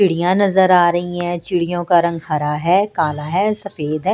चिड़ियाँ नजर आ रही हैं चिड़ियों का रंग हरा है काला है सफेद है।